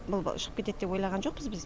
бұл шығып кетеді деп ойлаған жоқпыз біз